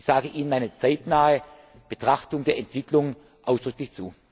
Ich sage Ihnen eine zeitnahe Betrachtung der Entwicklung ausdrücklich zu!